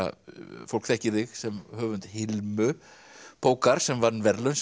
fólk þekkir þig sem höfund Hilmu bókar sem vann verðlaun sem